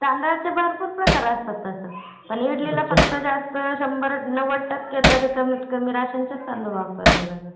तांदळाचे भरपूर प्रकार असतात तसं. पण इडलीच्या शंभरात नौवद टक्के तरी जास्तीत जास्त राशन चे तांदूळ वापरल्या जातात..